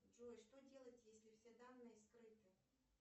джой что делать если все данные скрыты